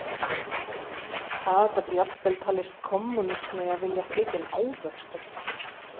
Það gat jafnvel talist kommúnismi að vilja flytja inn ávexti.